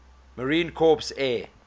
marine corps air